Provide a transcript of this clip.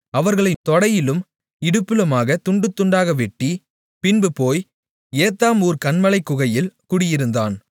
அவர்களைத் தொடையிலும் இடுப்பிலுமாக துண்டுதுண்டாக வெட்டி பின்பு போய் ஏத்தாம் ஊர்க் கன்மலைக் குகையில் குடியிருந்தான்